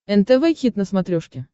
нтв хит на смотрешке